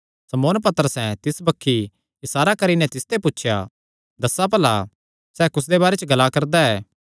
शमौन पतरसैं तिस बक्खी इसारा करी नैं तिसते पुछया दस्सा भला सैह़ कुसदे बारे च ग्ला करदा ऐ